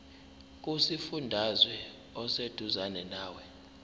kusifundazwe oseduzane nawe